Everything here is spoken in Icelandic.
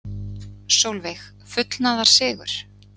Sólveig: Fullnaðarsigur?